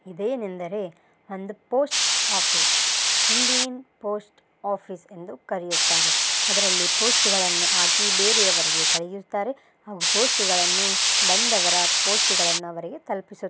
ಇದೇನ್ ಎಂದರೆ ಒಂದು ಪೋಸ್ಟ್ ಆಫೀಸ್ . ಹಿಂಡೀನ್ ಪೋಸ್ಟ್ ಆಫೀಸ್ ಎಂದು ಕರೆಯುತ್ತಾರೆ ಅದರಲ್ಲಿ ಪೋಸ್ಟ್ಗಳನ್ನು ಹಾಕಿ ಬೇರೆ ಅವರಿಗೆ ಕಳಿಹಿಸುತ್ತಾರೆ ಹಾಗು ಪೋಸ್ಟ್ಗಳನ್ನು ಬಂದವರ ಪೋಸ್ಟುಗಳನ್ನು ಅವರಿಗೆ ತಲುಪಿಸು--